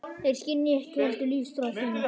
Þeir skynja ekki heldur lífsþrá þína.